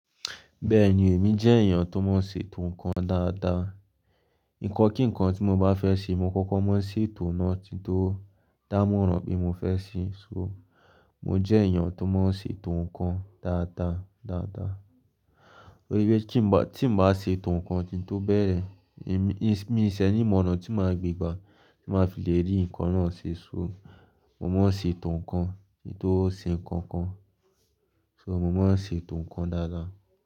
Bẹ́ẹ̀ni, èmi jẹ́ èèyàn tó máa n ṣe ètò ǹkan dáadáa. Ǹkọ́ kíǹkan tí mo bá fẹ́ ṣe, mo kọ́kọ́ máa ń ṣe ètò náà kín tó dá móràn pé mo fẹ́ ṣe. So, mo jẹ́ èèyàn tó máa n ṣe ètò ǹkan dáadáa, dáadáa. Torípé tí n bá, tí mo bá ṣe ètò ǹkan kín tó bẹ̀rẹ̀, èmi, mi sẹ̀ ní ònà tí máa gbégbá tí máa fi lè rí ǹkan náà ṣe. So, mo máa ń ṣe ètò ǹkan títí ó ṣe ǹkan kan. So mo máa ń ṣe ètò ǹkan dáadáa.